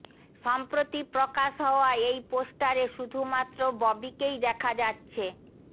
সম্প্রতি প্রকাশ হওয়া এই পোস্টারে শুধু মাত্র ববিকেই দেখা যাচ্ছে